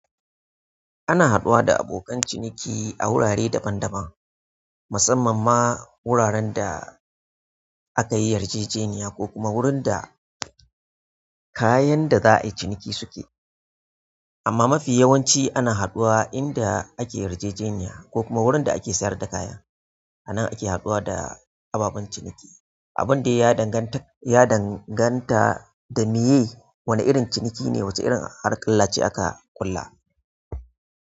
Ana haɗuwa da abokan ciniki a wurare daban-daban, musamman ma wuraren da aka yi yarjejeniya ko kuma wurin da kayan da za a yi ciniki suke. Amma mafi yawanci ana haɗuwa inda ake yarjejeniya ko kuma wurin da ake sayar da kaya. Annan ake haɗuwa da ababen ciniki. Abin da ya danganta da miye wane irin ciniki ne wace irin harkalla ce aka ƙulla.